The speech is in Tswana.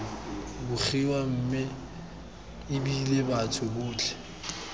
begiwa mme ebile batho botlhe